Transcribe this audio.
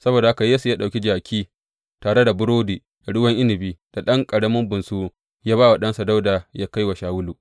Saboda haka Yesse ya ɗauki jaki tare da burodi da ruwan inabi da ɗan ƙarami bunsuru ya ba wa ɗansa Dawuda yă kai wa Shawulu.